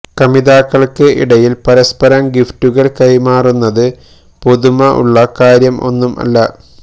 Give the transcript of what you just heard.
കമിതാക്കൾക്ക് ഇടയിൽ പരസ്പരം ഗിഫ്റ്റുകൾ കൈമാറുന്നത് പുതുമ ഉള്ള കാര്യം ഒന്നും അല്ല